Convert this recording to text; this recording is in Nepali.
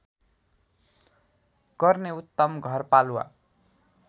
गर्ने उत्तम घरपालुवा